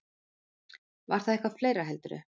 Var það eitthvað fleira, heldurðu?